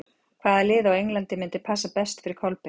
Hvaða lið á Englandi myndi passa best fyrir Kolbeinn?